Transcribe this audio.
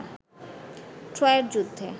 ট্রয়ের যুদ্ধে